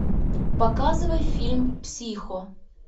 показывай фильм психо